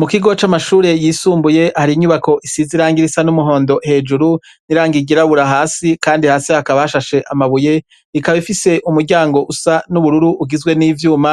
Mu kigo c'amashure yisumbuye abanyeshure basohoye intebe hanze bakaba bazicayeko bakabambaye umwambaro w'ishure amashati yera hejuru hamwe n'amajipo n'amapantara sa n'ubururu impandi yabo